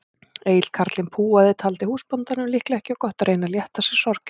Egill karlinn púaði, taldi húsbóndanum líklega ekki of gott að reyna að létta sér sorgirnar.